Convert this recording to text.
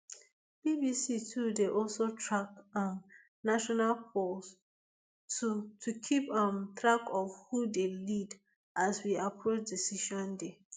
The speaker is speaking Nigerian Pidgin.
bbc too dey also track um national polls to to keep um track of who dey lead as we approach decision day